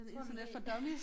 Tror du det